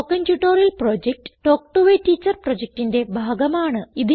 spoken tutorial project talk to a teacher പ്രൊജക്റ്റിന്റെ ഭാഗമാണ്